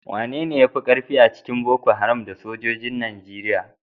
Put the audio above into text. Wanene ya fi karfi a cikin Boko Haram da sojojin Najeriya?